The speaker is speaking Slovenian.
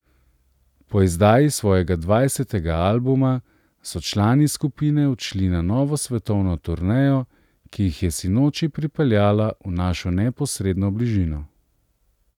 Po izdaji svojega dvajsetega albuma, so člani skupine odšli na novo svetovno turnejo, ki jih je sinoči pripeljala v našo neposredno bližino.